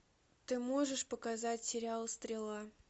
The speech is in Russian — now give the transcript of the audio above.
ты можешь показать сериал стрела